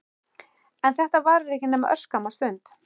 En þetta varir ekki nema örskamma stund.